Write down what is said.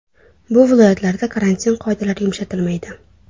Bu viloyatlarda karantin qoidalari yumshatilmaydi.